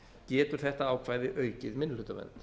getur þetta ákvæði aukið minnihlutavernd